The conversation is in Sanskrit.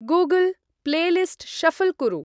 गूगल्! प्लेलिस्ट् शफ्ल् कुरु।